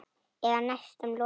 Eða næstum lokið.